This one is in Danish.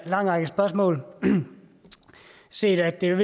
lang række spørgsmål set at det jo